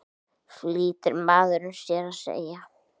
flýtir maðurinn sér að segja.